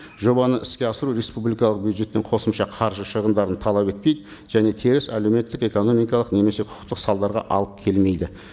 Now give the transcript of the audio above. жобаны іске асыру республикалық бюджеттен қосымша қаржы шығымдарын талап етпейді және теріс әлеуметтік экономикалық немесе құқықтық салдарға алып келмейді